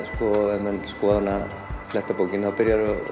ef menn fletta bókinni